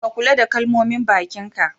Ka Kulla da kalmomin bakin ka.